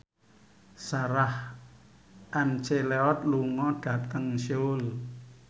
Sarah McLeod lunga dhateng Seoul